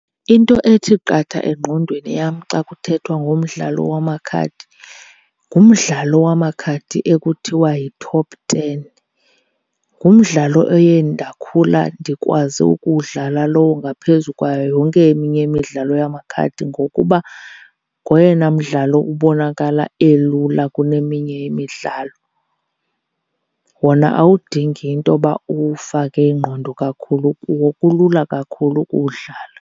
Into ethi qatha engqondweni yam xa kuthethwa ngomdlalo wamakhadi ngumdlalo wamakhadi ekuthiwa yi-top ten. Ngumdlalo oye ndakhula ndikwazi ukuwudlala lowo ngaphezu kwayo yonke eminye imidlalo yamakhadi, ngokuba ngoyena mdlalo ubonakala elula kuneminye imidlalo. Wona awudingi into yoba uwufake ingqondo kakhulu kuwo, kulula kakhulu ukuwudlala.